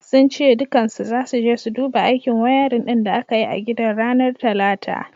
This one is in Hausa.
Sun ce dukkansu zasu je su dabu aikin wayarin din da aka yi a gidan ranar talata.